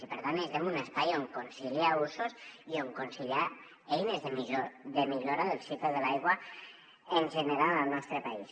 i per tant necessitem un espai on conciliar usos i on conciliar eines de millora del cicle de l’aigua en general al nostre país